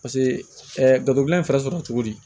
Paseke gafe gilan in fɛɛrɛ sɔrɔ cogo di